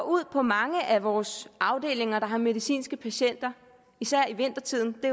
ud på mange af vores afdelinger der har medicinske patienter især i vintertiden og